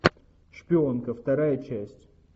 шпионка вторая часть